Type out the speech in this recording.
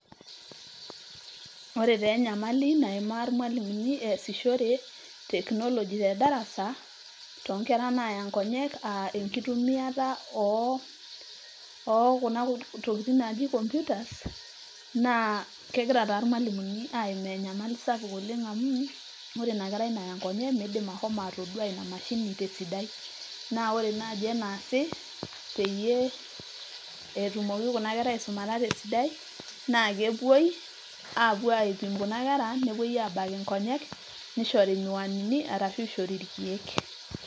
ore taa enyamali naimaa irmualimuni eesishore technology te darasa tonkera naya nkonyek aa enkitumiata oh, okuna tokitin naji computers naa kegira taa irmalimuni aimaa enyamali sapuk oleng amuu ore ina kerai naya inkonyek midim ahomo atodua ina mashini tesidai naa ore naaji enaasi peyie etumoki kuna kera aisumata tesidai naa kepuoi apuo aipim kuna kera nepuoi abak inkonyek nishori imiwanini arashu ishori irkiek.